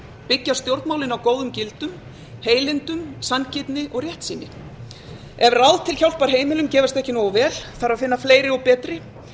byggja stjórnmálin á góðum gildum heilindum sanngirni og réttsýni ef ráð til hjálpar heimilum gefast ekki nógu vel þarf að finna fleiri og betri